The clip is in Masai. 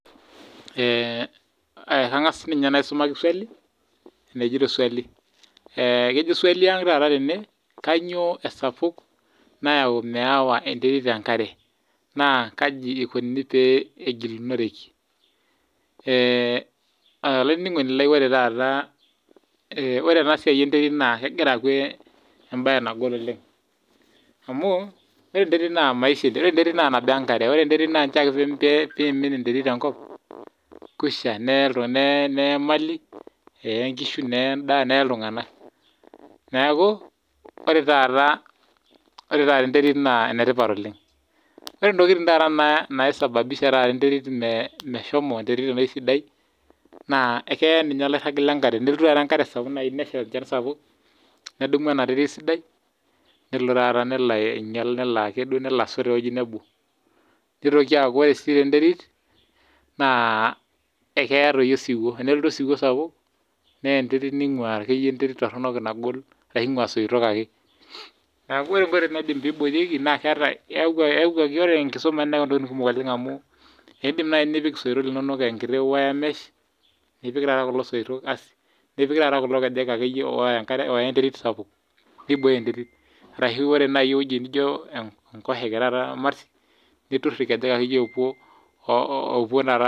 Ore taata enasiai enterit naa kegira agolu amu maisha enterit ore enterit naa nabo ake wee nkare ore ake pee emin enterit tenkop kwisha neye Mali eya nkishu neye endaa neye iltung'ana neeku ore taata enterit naa enetipat oleng ore taata ntokitin naisababisha enterit meshomo enoshi terit naa keyaa ninye oloirag lee nkare tenesha enoshi Shan sapuk nedumu ena terit sidai nelo ainyial nelo asot tewueji nebo nitoki aku ore si enterit ekeyaa osiwuo tenelotu osiwuo sapuk neya enterit ningua enterit Torono nagol ashu engua soitok ake neeku ore nkoitoi naidim pee eboriekie naa ore enkisuma neyau ntokitin kumok amu edim naaji nipik esoitok linono enkiti wiremesh nipik taat kulo soitok nipik kulo keek oya enterit sapuk pee eboyoo enterit arashu ore ewueji naijio emarti nitur irkejeek opuo